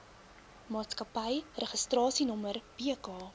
maatskappy registrasienommer bk